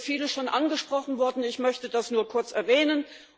Hier ist vieles schon angesprochen worden, ich möchte das nur kurz erwähnen.